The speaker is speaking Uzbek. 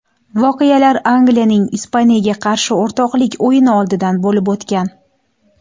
Voqealar Angliyaning Ispaniyaga qarshi o‘rtoqlik o‘yini oldidan bo‘lib o‘tgan.